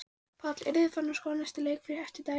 Páll: Eruð þið farnir að skoða næsta leik eftir dælingu?